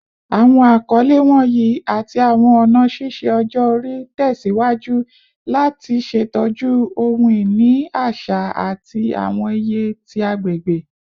Awọn akọle wọnyi ati awọn ọna ṣiṣe ọjọ-ori tẹsiwaju lati ṣetọju ohun-ini aṣa ati awọn iye ti agbegbe